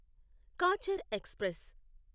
Cachar express